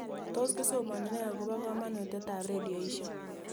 Tos kisomani nee akopo kamanutiet ab redioishek